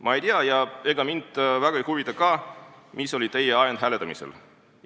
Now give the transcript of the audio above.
Ma ei tea ja ega mind väga ei huvita ka, mis oli teie ajend hääletamisel.